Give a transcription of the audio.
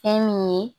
Fɛn min ye